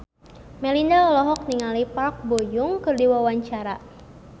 Melinda olohok ningali Park Bo Yung keur diwawancara